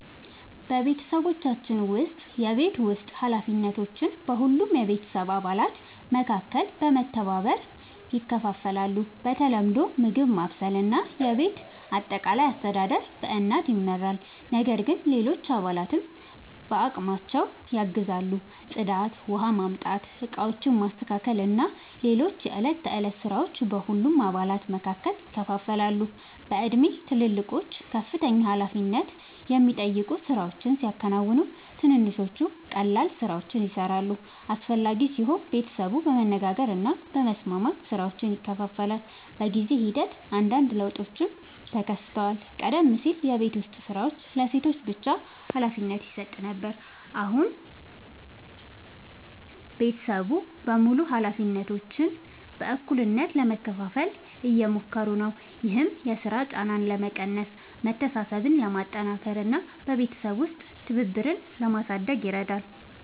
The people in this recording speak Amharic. በቤተሰባችን ውስጥ የቤት ውስጥ ኃላፊነቶች በሁሉም የቤተሰብ አባላት መካከል በመተባበር ይከፋፈላሉ። በተለምዶ ምግብ ማብሰል እና የቤት አጠቃላይ አስተዳደር በእናት ይመራል፣ ነገር ግን ሌሎች አባላትም በአቅማቸው ያግዛሉ። ጽዳት፣ ውኃ ማምጣት፣ ዕቃዎችን ማስተካከል እና ሌሎች የዕለት ተዕለት ሥራዎች በሁሉም አባላት መካከል ይከፋፈላሉ። በእድሜ ትልልቆቹ ከፍተኛ ኃላፊነት የሚጠይቁ ሥራዎችን ሲያከናውኑ፣ ትንንሾቹ ቀላል ሥራዎችን ይሠራሉ። አስፈላጊ ሲሆን ቤተሰቡ በመነጋገር እና በመስማማት ሥራዎችን ይከፋፍላል። በጊዜ ሂደት አንዳንድ ለውጦችም ተከስተዋል። ቀደም ሲል የቤት ዉስጥ ሥራዎች ለሴቶች ብቻ ሀላፊነት ይሰጥ ነበር፣ አሁን ቤተሰቡ በሙሉ ኃላፊነቶችን በእኩልነት ለመካፈል እየሞከሩ ነው። ይህም የሥራ ጫናን ለመቀነስ፣ መተሳሰብን ለማጠናከር እና በቤተሰብ ውስጥ ትብብርን ለማሳደግ ይረዳል።